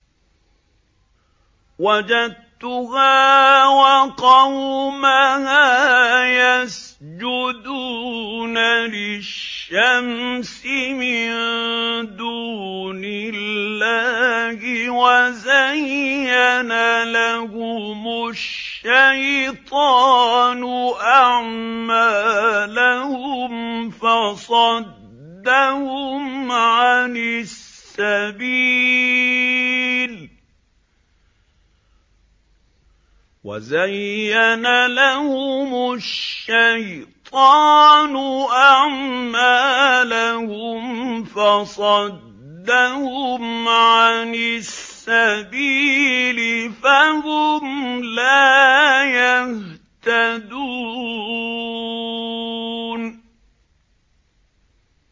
وَجَدتُّهَا وَقَوْمَهَا يَسْجُدُونَ لِلشَّمْسِ مِن دُونِ اللَّهِ وَزَيَّنَ لَهُمُ الشَّيْطَانُ أَعْمَالَهُمْ فَصَدَّهُمْ عَنِ السَّبِيلِ فَهُمْ لَا يَهْتَدُونَ